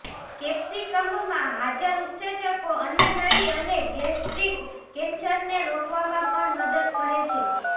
કેપ્સિકમમાં હાજર ઉત્સેચકો અન્નનળી અને ગેસ્ટ્રિક કેન્સરને રોકવામાં પણ મદદ કરે છે